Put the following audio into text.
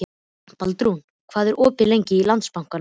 Baldrún, hvað er opið lengi í Landsbankanum?